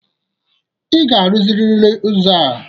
Ị ga-arụziriri ụzọ a!